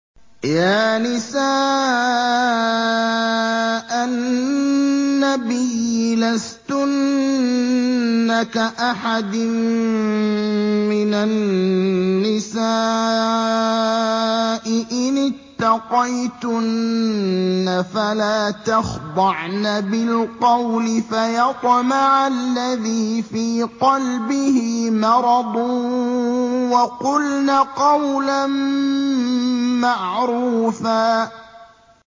يَا نِسَاءَ النَّبِيِّ لَسْتُنَّ كَأَحَدٍ مِّنَ النِّسَاءِ ۚ إِنِ اتَّقَيْتُنَّ فَلَا تَخْضَعْنَ بِالْقَوْلِ فَيَطْمَعَ الَّذِي فِي قَلْبِهِ مَرَضٌ وَقُلْنَ قَوْلًا مَّعْرُوفًا